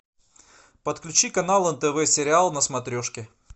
подключи канал нтв сериал на смотрешке